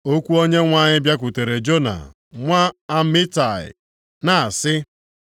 Okwu Onyenwe anyị bịakwutere Jona nwa Amitai, na-asị,